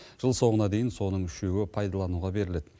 жыл соңына дейін соның үшеуі пайдалануға беріледі